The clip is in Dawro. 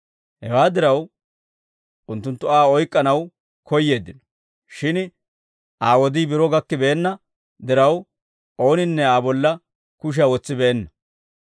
Hewaa diraw, unttunttu Aa oyk'k'anaw koyyeeddino; shin Aa wodii biro gakkibeenna diraw, ooninne Aa bolla kushiyaa wotsibeenna.